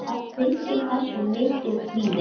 Það fylgir þessu mikill kvíði.